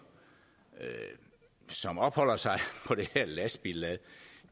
som opholder sig på det her lastbillad